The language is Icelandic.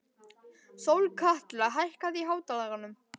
Sólkatla, hækkaðu í hátalaranum.